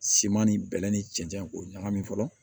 Siman ni bɛlɛ ni cɛncɛn k'o ɲagami fɔlɔ